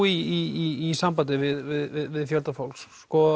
í sambandi við fjölda fólks